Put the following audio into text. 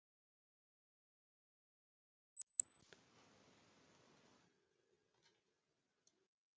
Þú mátt eiga afganginn.